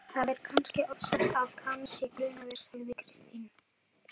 Það er kannski ofsagt að hann sé grunaður, sagði Kristín.